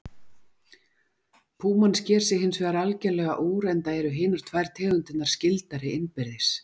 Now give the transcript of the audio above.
Púman sker sig hins vegar algerlega úr enda eru hinar tvær tegundirnar skyldari innbyrðis.